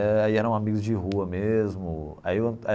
É aí eram amigos de rua mesmo aí o é.